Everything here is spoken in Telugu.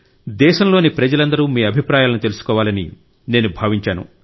దేశంలోని ప్రజలందరూ మీ అభిప్రాయాలను తెలుసుకోవాలని నేను భావించాను